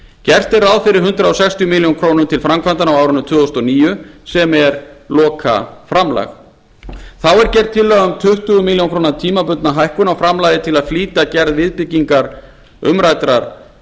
gert er ráð fyrir hundrað sextíu milljónir króna til framkvæmdanna á árinu tvö þúsund og níu sem er lokaframlag þá er gerð tillaga um tuttugu milljónir króna tímabundna hækkun á framlagi til að flýta gerð viðbyggingar umræddrar